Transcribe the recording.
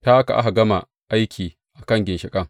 Ta haka aka gama aiki a kan ginshiƙan.